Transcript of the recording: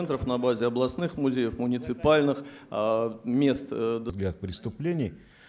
на базе областных музей муниципальных мест преступлений